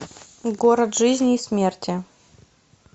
город жизни и смерти